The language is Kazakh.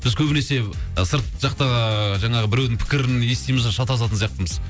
біз көбінесе сырт жақтағы жаңағы біреудің пікірін естиміз де шатасатын сияқтымыз